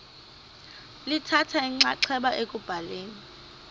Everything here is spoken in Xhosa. lithatha inxaxheba ekubhaleni